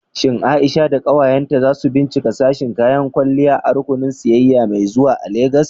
Shin Aisha da ƙawayenta za su binciki sashin kayan kwalliya a rukunin sayayya mai zuwa a Legas?